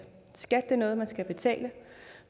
skat er noget man skal betale